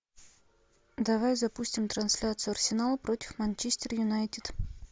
давай запустим трансляцию арсенал против манчестер юнайтед